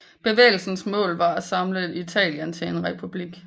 Bevægelsens mål var at samle Italien til en republik